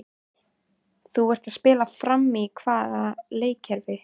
Þú ert að spila frammi í hvaða leikkerfi?